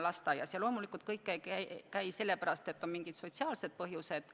Ja loomulikult kõik ei ole kodus sellepärast, et neil on mingid sotsiaalsed põhjused.